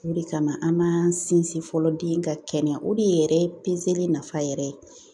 O de kama an ma sinsin fɔlɔ den ka kɛnɛya o de yɛrɛ nafa yɛrɛ ye